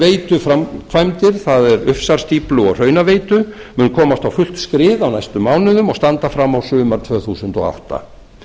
við jökulsárveituframkvæmdir það er ufsarstíflu og hraunaveitu mun komast á fullt skrið á næstu mánuðum og standa fram á sumar tvö þúsund og átta